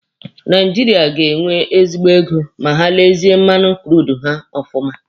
Naijiria ga-enwe ezigbo ego ma ha lezie mmanụ kurudu ha ọfụma.